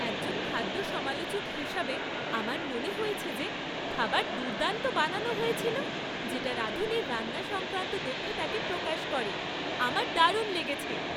একজন খাদ্য সমালোচক হিসাবে, আমার মনে হয়েছে যে খাবার দুর্দান্ত বানানো হয়েছিল, যেটা রাঁধুনির রান্না সংক্রান্ত দক্ষতাকে প্রকাশ করে। আমার দারুণ লেগেছে।